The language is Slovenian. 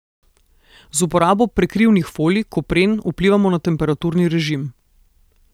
Z uporabo prekrivnih folij, kopren vplivamo na temperaturni režim.